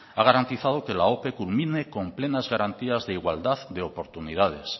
ha garantizado que la ope culmine con plenas garantías de igualdad de oportunidades